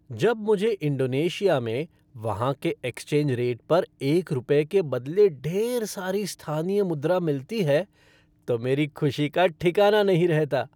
जब मुझे इंडोनेशिया में वहाँ के एक्सचेंज रेट पर एक रुपये के बदले ढेर सारी स्थानीय मुद्रा मिलती है तो मेरी खुशी का ठिकाना नहीं रहता।